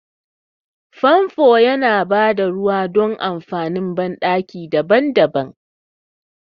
Famfo yana bada ruwa dan amfanin banɗaki daban-daban.